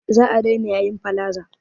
Za a daina yayin palaza